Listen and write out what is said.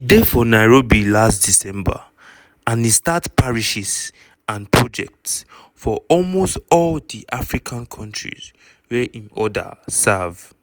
e dey for nairobi last december and e start parishes and projects for almost all di african kontris wia im order serve."